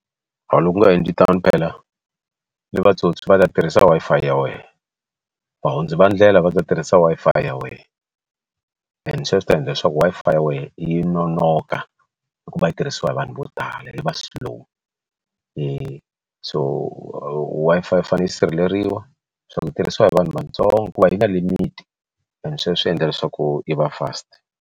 Loko u nga endli tano phela ni vatsotsi vatirhisa Wi-Fi ya wena va hundzi va ndlela va ta tirhisa Wi-Fi ya wena and sweswo swi ta endla leswaku Wi-Fi ya wena yi nonoka hi ku va yi tirhisiwa hi vanhu vo tala yi va slow so Wi-Fi yi fanele yi sirheleriwa swa ku yi tirhisiwa hi vanhu vatsongo ku va yi na limit and sweswo swi endla leswaku yi va fast.